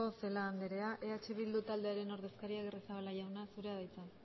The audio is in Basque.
celaá andrea eh bildu taldearen ordezkaria agirrezabala jauna zurea da hitza